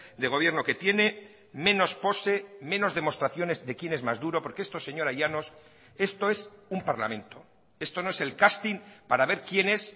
de gobierno que tiene menos pose menos demostraciones de quién es más duro porque esto señora llanos esto es un parlamento esto no es el casting para ver quién es